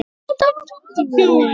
Hermann Ingi.